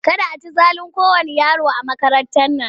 Kada a ci zalin kowanne yaro a makarantar nan!